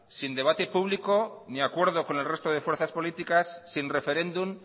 sin debate público ni acuerdo con el resto de fuerzas políticas sin referéndum